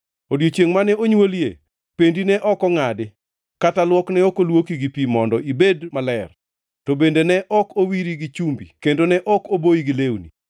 Odiechiengʼ mane onywolie, pendi ne ok ongʼadi, kata luok ne ok olwoki gi pi mondo ibed maler, to bende ne ok owiri gi chumbi kendo ne ok oboyi gi lewni.